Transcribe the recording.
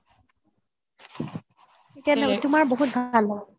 তোমাৰ বহুত ভাল